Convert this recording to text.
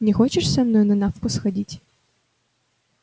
не хочешь со мной на навку сходить